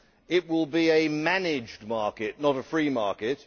It will be a managed market, not a free market